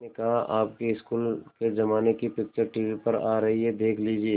मैंने कहा आपके स्कूल के ज़माने की पिक्चर टीवी पर आ रही है देख लीजिये